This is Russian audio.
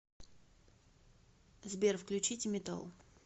сбер включите метал